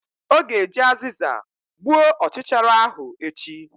Ọ ga-eji azịza gbuo ọchichara ahụ echi!